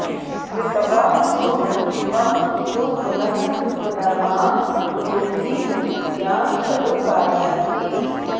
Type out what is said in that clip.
स्मृत्वा सुहृत्त्वं तु पुनः पुनर्मां ब्रूहि प्रतिज्ञां खलु पालयन्ति